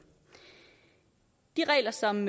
de regler som